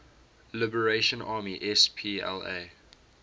liberation army spla